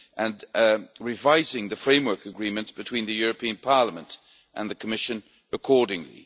and for revising the framework agreements between the European Parliament and the Commission accordingly.